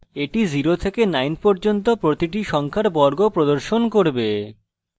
এটি 0 থেকে 9 পর্যন্ত প্রতিটি সংখ্যার বর্গ প্রদর্শন করবে